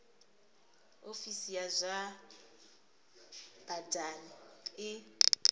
ofisi ya zwa badani i